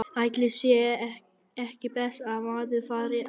Ætli sé ekki best að maður fari að sofa.